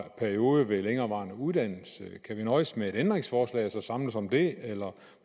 periode ved længerevarende uddannelse kan vi nøjes med et ændringsforslag og så samles om det eller